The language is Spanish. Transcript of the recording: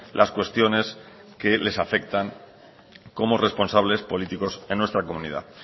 las cuestiones que les afectan como responsables políticos en nuestra comunidad